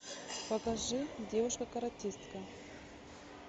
покажи девушка каратистка